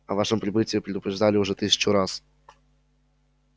о вашем прибытии предупреждали уже тысячу раз